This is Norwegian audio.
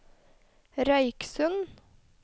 Røyksund